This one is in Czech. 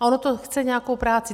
A ono to chce nějakou práci.